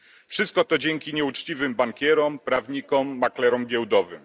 Wszystko to dzięki nieuczciwym bankierom, prawnikom, maklerom giełdowym.